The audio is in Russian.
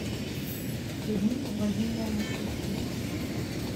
людмила владимировна сюткина